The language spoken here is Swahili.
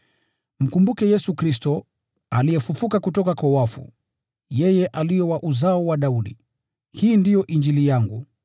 Mkumbuke Yesu Kristo, aliyefufuliwa kutoka kwa wafu, yeye aliye wa uzao wa Daudi. Hii ndiyo Injili yangu,